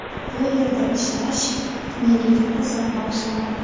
Bu yerda ishlash menga katta zavq bag‘ishlamoqda.